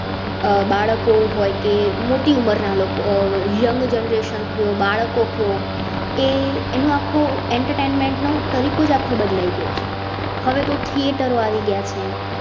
બાળકો હોય કે મોટી ઉંમર ના લોકો young generation કયો, બાળકો કયો એ એનું આખું entertainment ના. તરીકો આખો બદલાય ગયો છે હવે તો theatre ઓ આવી ગયા છે